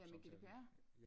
Ja med GDPR?